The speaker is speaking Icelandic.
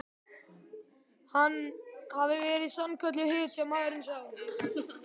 Hann hafi verið sannkölluð hetja, maðurinn sá.